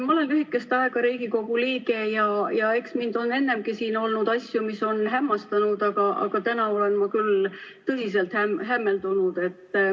Ma olen lühikest aega Riigikogu liige olnud ja eks on ennegi siin olnud asju, mis mind on hämmastanud, aga täna olen ma küll tõsiselt hämmeldunud.